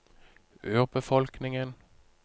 urbefolkningen